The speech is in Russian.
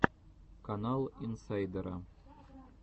канал инсайдера